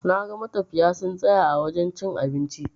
Naga matafiya sun tsaya a wajen cin abinci.